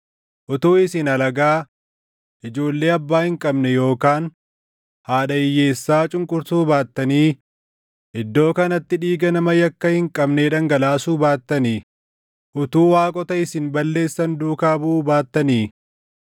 utuu isin alagaa, ijoollee abbaa hin qabne yookaan haadha hiyyeessaa cunqursuu baattanii iddoo kanatti dhiiga nama yakka hin qabnee dhangalaasuu baattanii, utuu waaqota isin balleessan duukaa buʼuu baattanii,